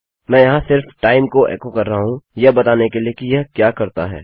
मैं यहाँ सिर्फ टाइम को एको कर रहा हूँ यह बताने के लिए कि यह क्या करता है